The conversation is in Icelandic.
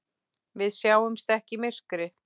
Við sjáumst ekki í myrkri!